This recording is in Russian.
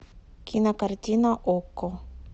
кинокартина окко